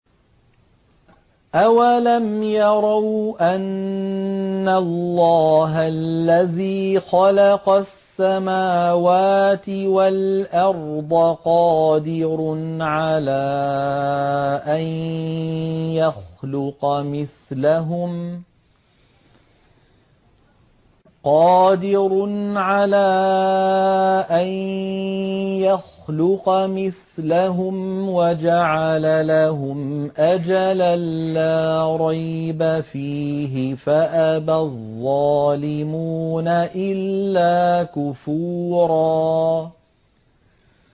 ۞ أَوَلَمْ يَرَوْا أَنَّ اللَّهَ الَّذِي خَلَقَ السَّمَاوَاتِ وَالْأَرْضَ قَادِرٌ عَلَىٰ أَن يَخْلُقَ مِثْلَهُمْ وَجَعَلَ لَهُمْ أَجَلًا لَّا رَيْبَ فِيهِ فَأَبَى الظَّالِمُونَ إِلَّا كُفُورًا